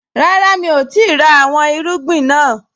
Rárá, mi ò tíì ra àwọn irúgbìn naa